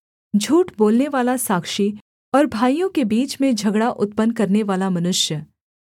झूठ बोलनेवाला साक्षी और भाइयों के बीच में झगड़ा उत्पन्न करनेवाला मनुष्य